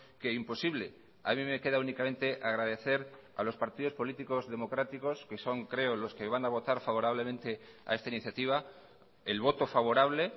que imposible a mí me queda únicamente agradecer a los partidos políticos democráticos que son creo los que van a votar favorablemente a esta iniciativa el voto favorable